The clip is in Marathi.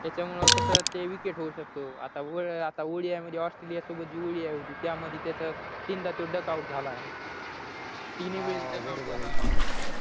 त्याच्यामुळे कसं ते wicket होऊ शकतो आतावय आता odi मध्ये australia सोबत जी odi होती त्यामध्ये त्याचं तीनदा तो डक out झाला तिनी वेळा डक आऊट झाला